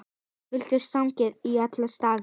Villtar sagnir í alla staði.